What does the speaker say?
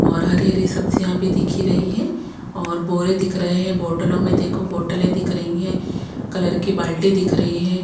और हरी-हरी सब्जियां भी दिख ही रही है और बोरे दिख रहे हैं बॉटलों में देखो बॉटलें दिख रही हैं कलर की बाल्टी दिख रही है।